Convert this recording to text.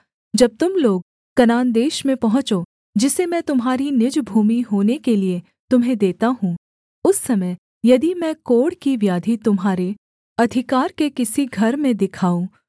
जब तुम लोग कनान देश में पहुँचो जिसे मैं तुम्हारी निज भूमि होने के लिये तुम्हें देता हूँ उस समय यदि मैं कोढ़ की व्याधि तुम्हारे अधिकार के किसी घर में दिखाऊँ